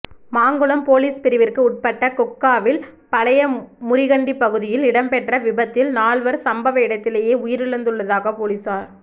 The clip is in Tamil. மாங்குளம் பொலிஸ் பிரிவிற்கு உட்பட்ட கொக்காவில் பழைய முறிகண்டிப்பகுதியில் இடம்பெற்ற விபத்தில் நால்வர் சம்பவ இடத்திலேயே உயிரிழந்துள்ளதாக பொலிஸார்